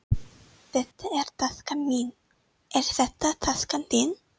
Þetta er taskan mín. Er þetta taskan þín?